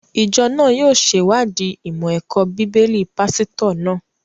Ìjọ náà yóò sèwáàdí ìmọ̀ ẹ̀kọ́ bíbélì pásítọ̀ náà